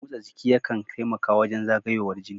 Motsa jiki yakan taimakawa wajen zagayowar jini